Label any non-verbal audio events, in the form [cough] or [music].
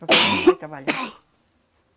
[coughs] Para poder trabalhar.